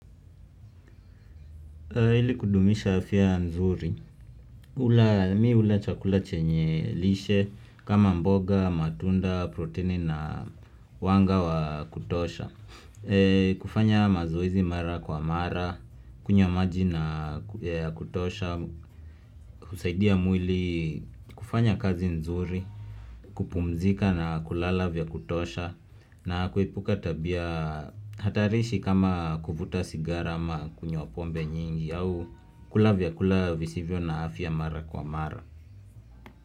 Ili kudumisha afya nzuri. Mimi hula chakula chenye lishe kama mboga, matunda, proteini na wanga wa kutosha. Kufanya mazoezi mara kwa mara, kunywa maji ya kutosha, kusaidia mwili kufanya kazi nzuri, kupumzika na kulala vya kutosha, na kuepuka tabia hatarishi kama kuvuta sigara ama kunywa pombe nyingi au kula vyakula visivyo na afya mara kwa mara.